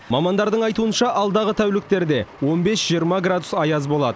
мамандардың айтуынша алдағы тәуліктерде он бес жиырма градус аяз болады